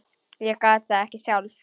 Ég gat það ekki sjálf.